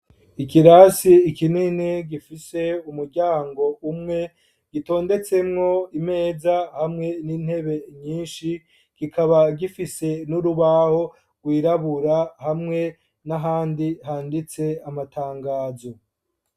Ikirasi kinini gifise umuryango umwe, gitondetsemwo imeza hamwe n'intebe nyinshi, kikaba gifise n'urubaho rwirabura hamwe n'ahandi handitse amatangazo.